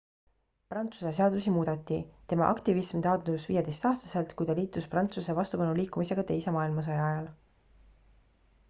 prantsuse seadusi muudeti tema aktivism taandus 15-aastaselt kui ta liitus prantsuse vastupanuliikumisega teise maailmasõja ajal